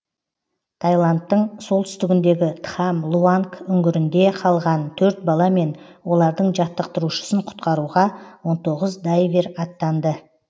таиландтың солтүстігіндегі тхам луанг үңгірінде қалған төрт бала мен олардың жаттықтырушысын құтқаруға он тоғыз дайвер аттанды